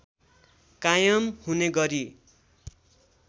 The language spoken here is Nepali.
कायम हुने गरी